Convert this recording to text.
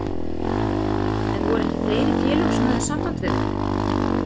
En voru ekki fleiri félög sem höfðu samband við þig?